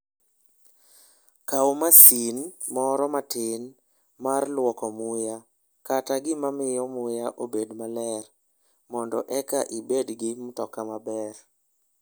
Kaw masin moro matin mar lwoko muya, kata gima miyo muya obed maler, mondo eka ibed gi mtoka maber.